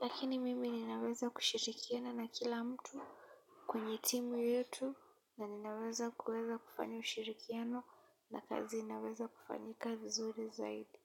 Lakini mimi ninaweza kushirikiana na kila mtu kwenye timu yetu na ninaweza kuweza kufanya ushirikiano na kazi inaweza kufanyika vizuri zaidi.